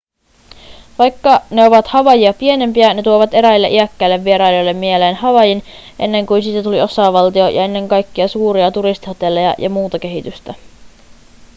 vaikka ne ovat havaijia pienempiä ne tuovat eräille iäkkäille vierailijoille mieleen havaijin ennen kuin siitä tuli osavaltio ja ennen kaikkia suuria turistihotelleja ja muuta kehitystä